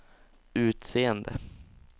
utseende